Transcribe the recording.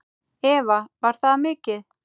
Eva: Var það mikið?